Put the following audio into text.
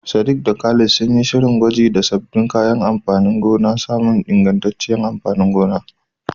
Sadiq da Khalid sun yi shirin yin gwaji da sabbin kayan amfanin gona don samun ingantacciyar amfanin gona.